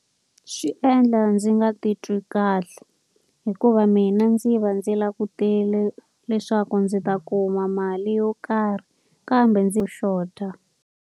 Swi endla ndzi nga titwi kahle. Hikuva mina ndzi va ndzi langutele leswaku ndzi ta kuma mali yo karhi, kambe ndzi xota.